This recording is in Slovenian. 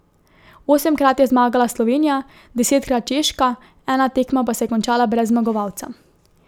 Osemkrat je zmagala Slovenija, desetkrat Češka, ena tekma pa se je končala brez zmagovalca.